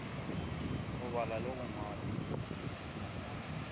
go bala le go ngwala